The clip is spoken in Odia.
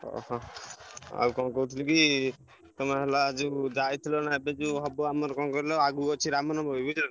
ଓହୋ ଆଉ କଣ କହୁଥିଲି କି ତମେ ହେଲା ଯୋଉ ଯାଇଥିଲା ନା ଏବେ ଯୋଉ ହବ ଆମର କଣ କହିଲ ଆଗକୁ ଅଛି ରାମ ନବମୀ ବୁଝିଲନା।